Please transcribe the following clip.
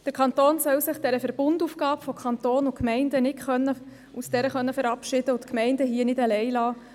Der Kanton soll sich nicht aus dieser Verbundaufgabe von Kanton und Gemeinden verabschieden und die Gemeinden alleine lassen.